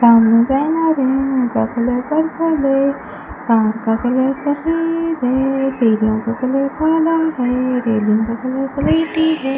सामने बैनर है उनका कलर पर्पल है कार का कलर सफेद है सीढ़ीओ का कलर काला है रेलिंग का कलर स्लेटी है।